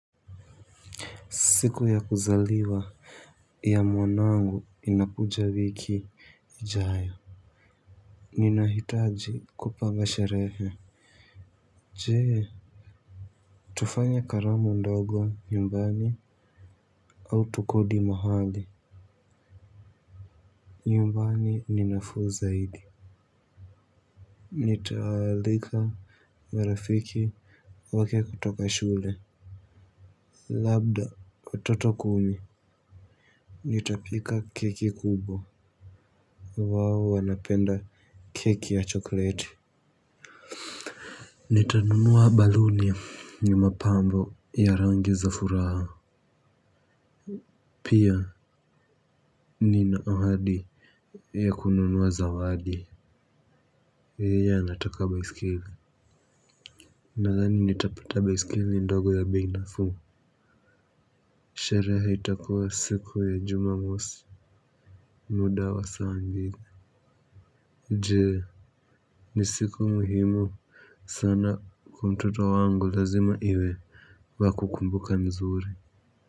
Siku ya kuzaliwa ya mwanangu inapuja wiki ijayo ninahitaji kupanga sherehe je. Tufanya karamu ndogo nyumbani. Au tukodi mahali. Nyumbani ninafuu zaidi. Nitaalika marafiki wake kutoka shule. Labda watoto kumi. Nitapika keki kubwa. Wao wanapenda keki ya chokleti. Nitanunuwa baloonia ni mapambo ya rangi za furaha. Pia ni na ohadi ya kununuwa zawadi yeye anataka baiskeli. Nadhani nitapata baiskeli ndogo ya bei nafuu. Sherehe itakua siku ya jumamosi muda wa saa mbili. Jee ni siku muhimu sana kwa mtoto wangu lazima iwe wa kukumbuka mzuri.